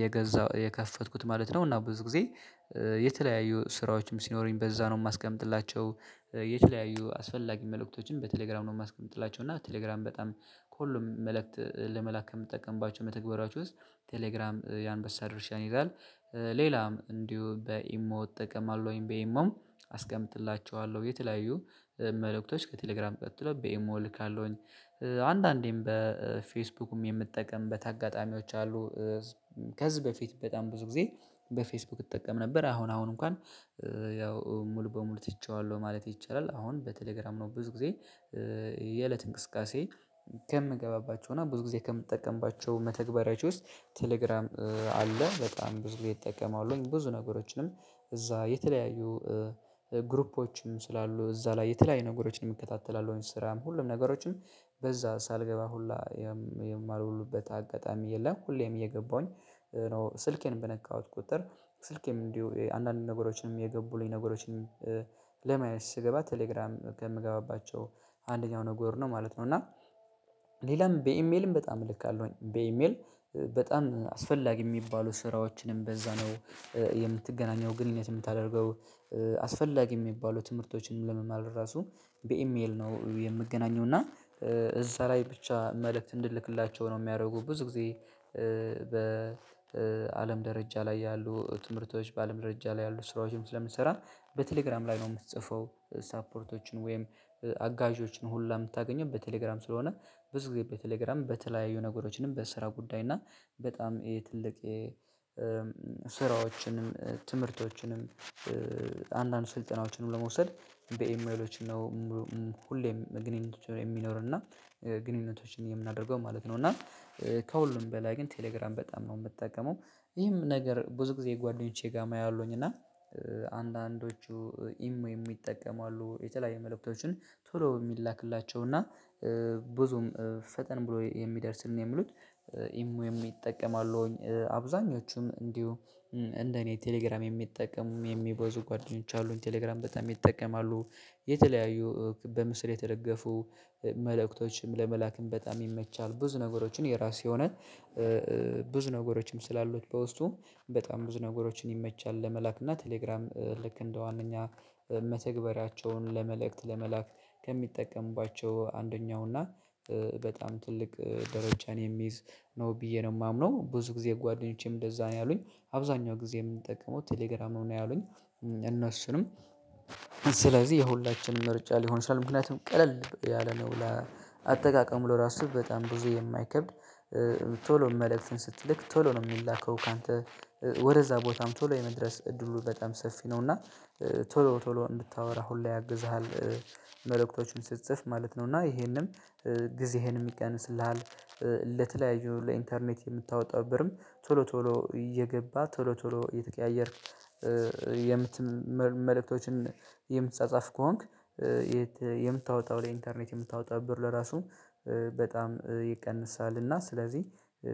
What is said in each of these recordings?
የገዛሁት የከፈትኩት ማለት ነው። እና ብዙ ጊዜ የተለያዩ ስራዎችም ሲኖረኝ በዛ ነው የማስቀምጥላቸው። የተለያዩ አስፈላጊ መልእክቶችን በቴሌግራም ነው የማስቀምጥላቸው። እና በቴሌግራም በጣም ከሁሉም መልእክት ለመላክ ከምጠቀምባቸው መተግበርያዎች ወስጥ ቴሌግራም ያንበሳ ድርሻን ይይዛላል። ሌላም እንዲሁ በኢሞ እጠቀማለሁኝ በኢሞም አስቀምጥላችኋለሁ የተለያዩ መልእክቶች ከቴሌግራም ቀጥሎ በኤሞ እልካለሁኝ። አንዳንዴም በፌስቡክም የምጠቀምበት አጋጣሚዎች አሉ። ከዚህ በፊት በጣም ብዙ ጊዜ በፌስቡክ እጠቀም ነበር አሁን አሁን እንኳን ያው ሙሉ በሙሉ ትቼዋለሁ ማለት ይቻላል። አሁን በቴሌግራም ነው ብዙ ጊዜ የእለት እንቅስቃሴ ከምገባባቸው እና ብዙ ጊዜ ከምጠቀምባቸው መተግበሪያዎች ውስጥ ቴሌግራም አለ በጣም ብዙ ጊዜ እጠቀመዋለሁኝ። ብዙ ነገሮችንም እዛ የተለያዩ ግሩፖችንም ስላሉ እዛ ላይ የተለያዩ ነገሮችንም የሚከታተላሉ ስራም ሁሉም ነገሮችን በዛ ሳልገባ ሁላ የማልውሉበት አጋጣሚ የለም። ሁሌም እየገባሁኝ ስልኬን በነካሁት ቁጥር ስልኬም እንዲሁ አንዳንድ ነገሮችንም የገቡልኝ ነገሮችን ለማየት ስገባ ቴሌግራም ከምገባባቸው አንደኛው ነገሩ ነው ማለት ነው። እና ሌላም በኢሜልም በጣም እልካለሁኝ በኢሜል በጣም አስፈላጊ የሚባሉ ስራዎችንም በዛ ነው። የምትገናኘው ግንኙነት የምታደርገው አስፈላጊ የሚባሉ ትምህርቶችን ለመማር ራሱ በኢሜል ነው የምገናኘው። እና እዛ ላይ ብቻ መልእክት እንድልክላቸው ነው የሚያደርጉት። ብዙ ጊዜ በአለም ደረጃ ላይ ያሉ ትምህርቶች በአለም ደረጃ ላይ ያሉ ስራዎችም ስለምሰራ በቴሌግራም ላይ ነው የምትጽፈው ሳፖርቶችን ወይም አጋዦችን ሁላ የምታገኘው በቴሌግራም ስለሆነ። ብዙ ጊዜ በቴሌግራም በተለያዩ ነገሮችንም በስራ ጉዳይ እና በጣም ትልቅ የ ስራዎችንም ትምህርቶችንም አንዳንድ ስልጠናዎችንም ለመውሰድ በኢሜሎች ነው። ሁሌም ግንኙነቶች ነው የሚኖርና ግንኙነቶችን የምናደርገው ማለት ነው። እና ከሁሉም በላይ ግን ቴሌግራም በጣም ነው የምጠቀመው። ይህም ነገር ብዙ ጊዜ ጓደኞቼ ጋር አያለሁኝ እና አንዳንዶቹ ኢሞ የሚጠቀሙ አሉ። የተለያየ መልእክቶችን ቶሎ የሚላክላቸው እና ብዙም ፈጠን ብሎ የሚደርስልን የሚሉት ኢሞ የሚጠቀሙ አሉኝ አብዛኞቹም እንዲሁ እንደኔ ቴሌግራም የሚጠቀሙ የሚበዙ ጓደኞች አሉኝ። ቴሌግራም በጣም ይጠቀማሉ የተለያዩ በምስል የተደገፉ መልእክቶችም ለመላክም በጣም ይመቻል። ብዙ ነገሮችን የራስ የሆነ ብዙ ነገሮችም ስላሉት በውስጡ በጣም ብዙ ነገሮችን ይመቻል። ለመላክ እና ቴሌግራም ልክ እንደዋነኛ መተግበሪያቸውን ለመልእክት ለመላክ ከሚጠቀምባቸው አንደኛው እና በጣም ትልቅ ደረጃን የሚይዝ ነው ብዬ ነው የማምነው። ብዙ ጊዜ ጓደኞቼም እንደዛ ነው ያሉኝ አብዛኛው ጊዜ የምንጠቀመው ቴሌግራም ነው ያሉኝ። እነሱንም ስለዚህ የሁላችንም ምርጫ ሊሆን ይችላል ምክንያቱም ቀለል ያለ ነው ለአጠቃቀም ለራሱ በጣም ብዙ የማይከብድ። ቶሎ መልእክትን ስትልክ ቶሎ ነው የሚላከው ካንተ ወደዛ ቦታም ቶሎ የመድረስ እድሉ በጣም ሰፊ ነው። እና ቶሎ ቶሎ እንድታወራ ሁሌ ያግዝሃል። መልእክቶቹን ስትጽፍ ማለት ነው እና ይሄንም ጊዜህን ይቀንስልሃል። ለተለያዩ ለኢንተርኔት የምታወጣው ብርም ቶሎ ቶሎ እየገባ ቶሎ ቶሎ እየተቀያየርክ የምት መልእክቶችን የምትጻጸፍ ከሆንክ የምታወጣው ለኢንተርኔት የምታወጣው ብር ለራሱ በጣም ይቀንሳል እና ስለዚህ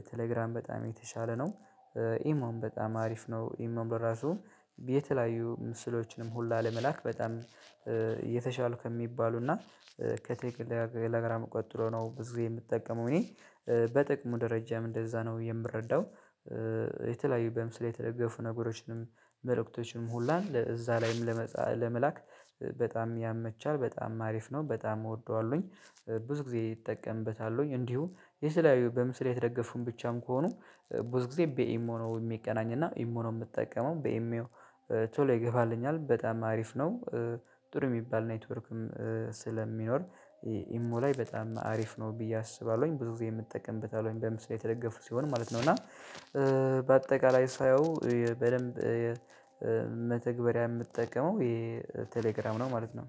ቴሌግራም በጣም የተሻለ ነው። ኢሞም በጣም አሪፍ ነው። ኢሞ በራሱ የተለያዩ ምስሎችንም ሁላ ለመላክ በጣም የተሻለ ከሚባሉ እና ከቴለግራም ቀጥሎ ነው። ብዙ የምጠቀመው እኔ በጥቅሙ ደረጃም እንደዛ ነው የምረዳው። የተለያዩ በምስሌ የተደገፉ ነገሮችንም መልእክቶችንም ሁላ እዛ ላይም ለመ ለመላክ በጣም ያመቻል በጣም አሪፍ ነው በጣም እወደዋለሁኝ። ብዙ ጊዜ እጠቀምበታለሁኝ እንዲሁ የተለያዩ በምስል የተደገፉም ብቻም ከሆኑ ብዙ ጊዜ በኢሞ ነው የሚገናኝ እና ኢሞ ነው የምጠቀመው በኢሞ ቶሎ ይገባልኛል በጣም አሪፍ ነው። ጥሩ የሚባል ኔትወርክም ስለሚኖር ኢሞ ላይ በጣም አሪፍ ነው ብዬ አስባለሁኝ። ብዙ ጊዜም እጠቀምበታለሁኝ በምስል ላይ የተደገፉ ሲሆን ማለት ነው። እና በአጠቃላይ ሳየው በደንብ መተግበሪያ የምጠቀመው የቴሌግራም ነው ማለት ነው።